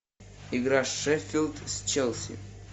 игра шеффилд с челси